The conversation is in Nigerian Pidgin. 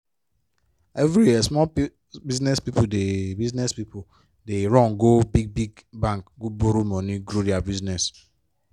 every year small business pipo dey business pipo dey run go big-big bank go borrow money grow dia business.